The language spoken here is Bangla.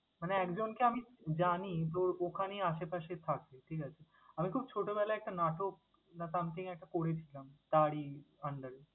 মানে একজনকে আমি জানি তোর ওখানেই আশেপাশে থাকে, ঠিক আছে? আমি খুব ছোটবেলায় একটা নাটক বা something একটা করেছিলাম তারই under এ।